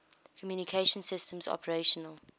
communication systems operational